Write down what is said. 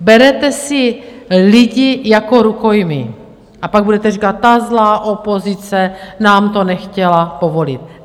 Berete si lidi jako rukojmí a pak budete říkat: Ta zlá opozice nám to nechtěla povolit.